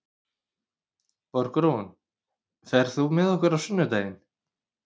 Borgrún, ferð þú með okkur á sunnudaginn?